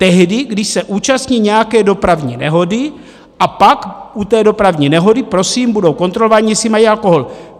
Tehdy, když se účastní nějaké dopravní nehody, a pak u té dopravní nehody prosím budou kontrolováni, jestli mají alkohol.